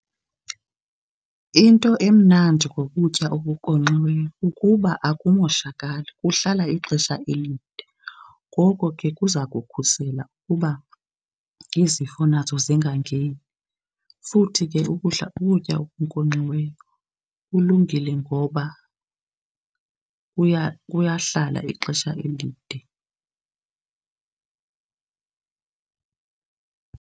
Into emnandi ngokutya okunkonkxiweyo kukuba akumoshakali, kuhlala ixesha elide. Ngoko ke kuza kukhusela uba izifo nazo zingangeni, futhi ke ukudla, ukutya okunkonxiweyo kulungile ngoba kuyahlala ixesha elide.